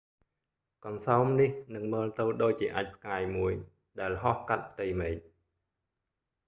កន្សោមនេះនឹងមើលទៅដូចជាអាចម៍ផ្កាយមួយដែលហោះកាត់ផ្ទៃមេឃ